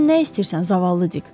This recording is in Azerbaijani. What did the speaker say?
Sən nə istəyirsən zavallı Dik?